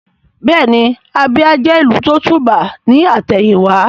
Bẹ́ẹ̀ni Abia jẹ́ ìlú tó tùbà ní àtẹ̀yìn wá